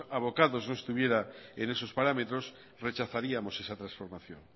abocados no estuviera en esos parámetros rechazaríamos esa transformación